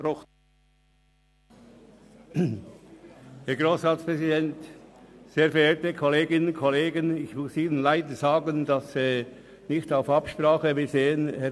Kommissionssprecher der GPK.Es tut mir leid, Ihnen zu sagen, dass ich mich nicht auf die Vorstellung dieses Berichts habe vorbereiten können.